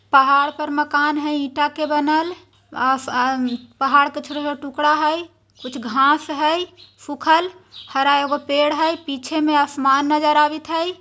पहाड़ पर मकान है ईटा के बनल अस आन पहाड़ कुछर टुकड़ा हेय कुछ घास हेय सुखल हरा एगो पेड़ हेय पीछे में आसमान नजर आवत हैं।